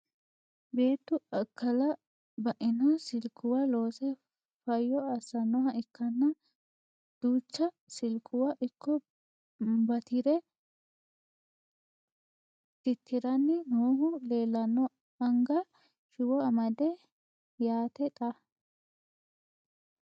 Beettu akkalla bainno silikuwa loose fayyo assannoha ikkanna duucha silikuwa ikko baattire titiranni noohu leelanno anga shiwo amade yaatte xa